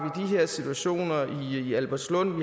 de her situationer i albertslund